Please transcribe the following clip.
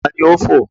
Ta ni ó fò?